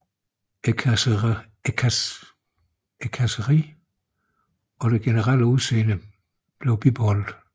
Karrosseriet og det generelle udseende blev bibeholdt